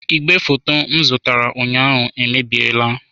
Igwefoto m zụtara ụnyaahụ emebiela.